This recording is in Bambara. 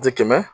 Ji kɛmɛ